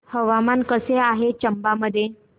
हवामान कसे आहे चंबा मध्ये